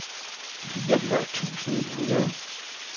fireogfyrre tusind ni hundrede